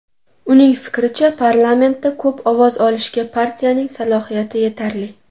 Uning fikricha, parlamentda ko‘p ovoz olishga partiyaning salohiyati yetarli.